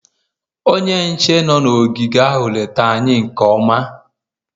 onye nche nọ n'ogige ahụ lete anyị nke mma